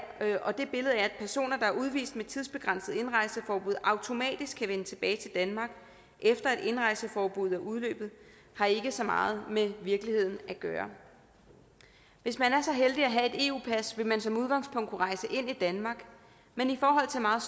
personer der er udvist med tidsbegrænset indrejseforbud automatisk kan vende tilbage til danmark efter at indrejseforbuddet er udløbet har ikke så meget med virkeligheden at gøre hvis man er så heldig at have et eu pas vil man som udgangspunkt kunne rejse ind i danmark men i forhold til meget